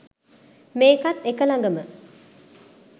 මේකත් එක ලඟම